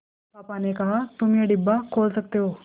पापा ने कहा तुम ये डिब्बा खोल सकते हो